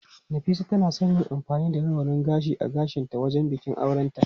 Nafisa tana son yin amfani da rawanin gashi a gashinta wajen bikin aurenta.